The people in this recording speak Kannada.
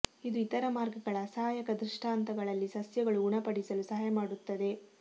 ಇದು ಇತರ ಮಾರ್ಗಗಳ ಅಸಹಾಯಕ ದೃಷ್ಟಾಂತಗಳಲ್ಲಿ ಸಸ್ಯಗಳು ಗುಣಪಡಿಸಲು ಸಹಾಯ ಮಾಡುತ್ತದೆ